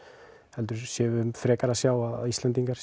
heldur séum við frekar að sjá að Íslendingar